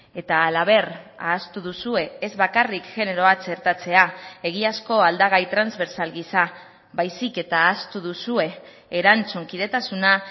eta halaber ahaztu duzue ez bakarrik generoa txertatzea egiazko aldagai transbertsal gisa baizik eta ahaztu duzue erantzunkidetasuna